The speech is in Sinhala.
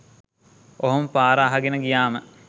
ඔහොම පාර අහගෙන ගියාම